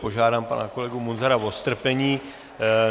Požádám pana kolegu Munzara o strpení.